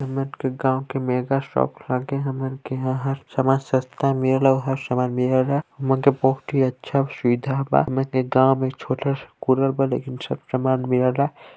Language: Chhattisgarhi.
हमन के गाँव के मेगाशॉप लागे हमन के यहाँ हर सामान सस्ता मिल ला हर सामान मिल ला हमन के बहुत ही अच्छा सुविधा बा ईमे गाँव में छोटा सा कूलर बा लेकिन सब सामान मिला ला।